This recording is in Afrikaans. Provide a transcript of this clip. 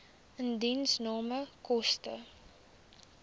indiensname koste